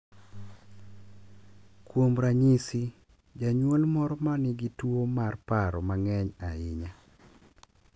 Kuom ranyisi, janyuol moro ma nigi tuwo mar paro mang’eny ahinya .